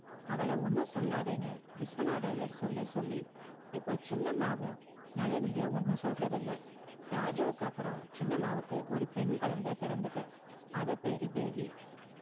அவள ஒன்னும் சொல்லத்தேன்னு விஸ்வநாதர் ஐயர் சொல்லி சொல்லி இப்போ சின்னம்மாவு நளினியே ஒன்னும் சொல்றது இல்ல ராஜுவுக்கு அப்புறம் சின்னம்மாவுக்கு ஒரு பெண் குழந்தை பெறந்தது அது பேரு baby